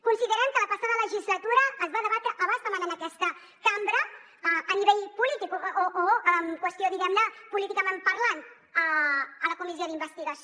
considerem que la passada legislatura es va debatre a bastament en aquesta cambra a nivell polític o amb qüestió diguem ne políticament parlant a la comissió d’investigació